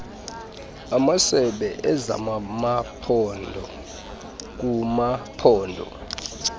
amasebe ezamamaphondo kumaphondo